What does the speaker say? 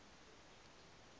ke tla no ya go